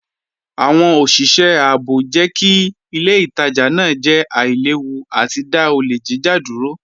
Awọn oṣiṣẹ ààbò jẹ́ kí ilẹ̀ ìtajà naa jẹ́ àìlèwú àti dá ọlẹ̀ jíjà dúró.